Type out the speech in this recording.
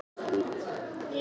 Flúor mælist undir mörkum